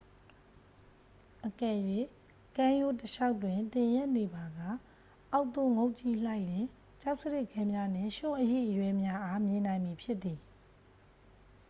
အကယ်၍ ကမ်းရိုးတလျှောက်တွင် သင်ရပ်နေပါက ၊ အောက်သို့ငုံ့ကြည့်လိုက်လျှင် ကျောက်စရစ်ခဲများနှင့် ရွံှ့အရိအရွဲများအား မြင်နိုင်မည်ဖြစ်သည်။